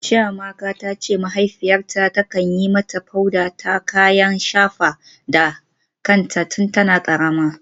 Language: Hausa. Chiamaka ta ce mahaifiyarta ta kan yi mata powder ta kayan shafa da kanta tun tana karama.